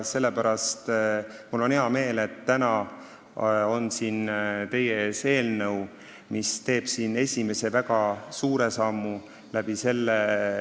Sellepärast on mul hea meel, et täna on siin teie ees eelnõu, mis teeb esimese väga suure sammu õiges suunas.